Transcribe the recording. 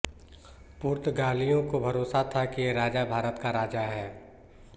पुर्तागालियों को भरोसा था कि ये राजा भारत का राजा है